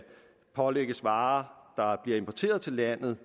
pålægges varer der bliver importeret til landet